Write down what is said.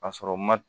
Ka sɔrɔ u ma